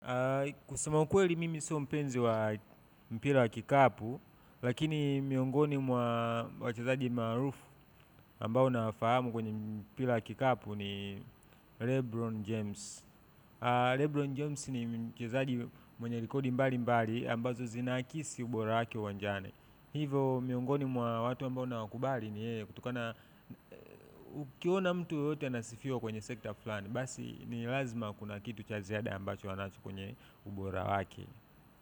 Kusema ukweli mimi so mpenzi wa mpira wa kikapu, lakini miongoni mwa wachezaji maarufu ambao nafahamu kwenye mpira wa kikapu ni Lebron James. Lebron James ni mchezaji mwenye rekodi mbali mbali ambazo zinaakisi ubora wakile uwanjani. Hivo miongoni mwa watu ambao nawkubali ni yeye, kutokana ukiona mtu yeyote anasifiwa kwenye sekta fulani, basi ni lazima kuna kitu cha ziada ambacho wanacho kwenye ubora wake. Kwa hivyo.